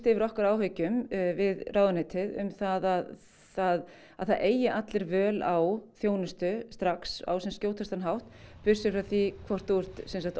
yfir okkar áhyggjum við ráðuneytið um það að það að það eigi allir völ á þjónustu strax á sem skjótastan hátt burt séð frá því hvort þú ert